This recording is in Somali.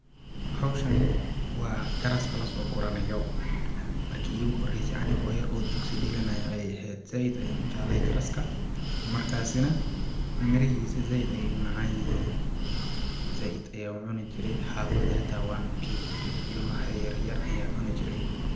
Hawshani waa garaska lasoo guranayo ,markii iigu horeyse anigoo yar oo dugsi dhiganayo ayeey eheed ,zaaid ayaan u jeclaay garsaka ,markaasi na mirahiisa zaaid ayeey u macaan yihiin ,zaaid ayaan u cuni jiray ,xafada xitaa waana u keen jiray ilmaha yar yar ayaa cuni jireen .